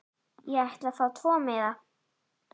Ég ætla að fá tvo miða.